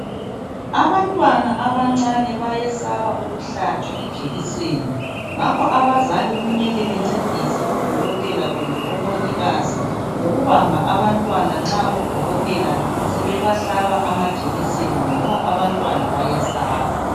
Abantwana abancane bayesaba ukuhlatshwa ijekiseni ngakho abazali kumele bencedise odokodela kumbe omongikazi ngokubamba abntwana nxa odokotela sebebahlaba amajekiseni ngoba abantwana bayayesaba.